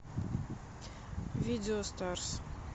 видео старс